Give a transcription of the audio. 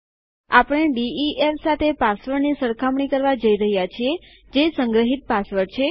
આપણે ડીઇએફ સાથે પાસવર્ડની સરખામણી કરવા જઈ રહ્યા છીએ જે સંગ્રહિત પાસવર્ડ છે